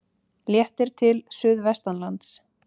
Léttir til suðvestanlands